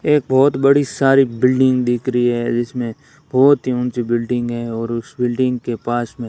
एक बहोत बड़ी सारी बिल्डिंग दिख रही है जिसमें बहोत ही ऊंची बिल्डिंग है और उस बिल्डिंग के पास मे --